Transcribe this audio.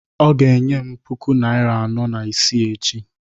ọ ga-enye m puku naịra anọ na isii echi